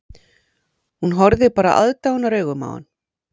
Hún horfði bara aðdáunaraugum á hann